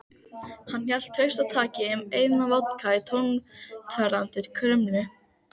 Hann hélt traustataki um eina vodka í tattóveraðri krumlu.